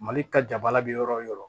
Mali ka jabala bɛ yɔrɔ o yɔrɔ